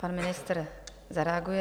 Pan ministr zareaguje.